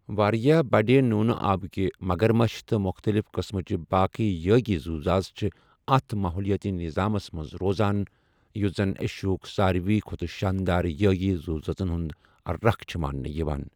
واریاہ بَڈِ نوٗنہٕ آبٕکہِ مَگَر مٔچھ تہٕ مُختٕلِف قٔسمٕچہِ باقیہ یٲگی زُوذٲژ چِھ اَتھ ماحولِیٲتی نِظامس منز روزان ، یُس زَن ایشیاہُک سارِوٕیہ کھۄتہٕ شانٛدار یٲگی زُوذٲژن ہنز ركھ چِھ ماننہِ یِوان ۔